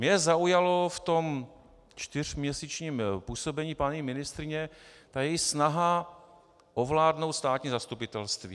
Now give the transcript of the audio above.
Mě zaujala v tom čtyřměsíčním působení paní ministryně ta její snaha ovládnout státní zastupitelství.